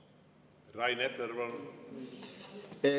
Rain Epler, palun!